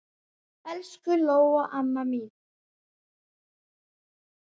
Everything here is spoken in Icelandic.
Elsku Lóa amma mín.